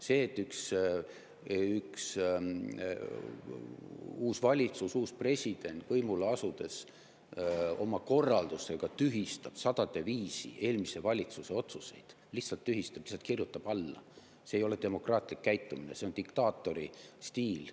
See, et üks uus valitsus, uus president võimule asudes oma korraldustega tühistab sadade viisi eelmise valitsuse otsuseid – lihtsalt tühistab, lihtsalt kirjutab alla –, ei ole demokraatlik käitumine, see on diktaatori stiil.